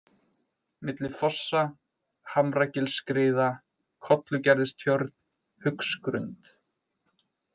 Milli fossa, Hamragilsskriða, Kollugerðistjörn, Haugsgrund